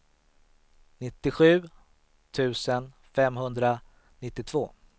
nittiosju tusen femhundranittiotvå